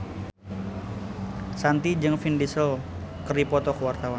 Shanti jeung Vin Diesel keur dipoto ku wartawan